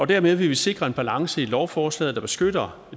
dermed vil vi sikre en balance i lovforslaget der beskytter